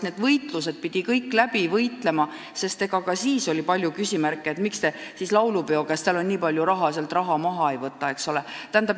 Need võitlused tuli kõik maha pidada, sest ka siis oli palju küsimärke, miks te laulupidude vaheajal sealt raha maha ei võta, kas teil tõesti on nii palju raha.